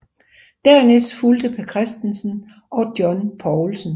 Dernæst fulgte Per Kristensen og John Poulsen